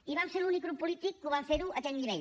i vam ser l’únic grup polític que vam ferho a aquell nivell